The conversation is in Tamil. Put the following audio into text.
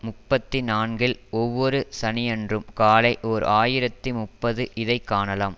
முப்பத்தி நான்கில் ஒவ்வொரு சனியன்றும் காலை ஓர் ஆயிரத்தி முப்பது இதை காணலாம்